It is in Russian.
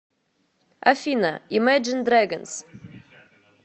афина имэджин дрэгонс